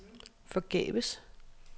forgæves